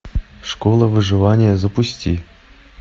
школа выживания запусти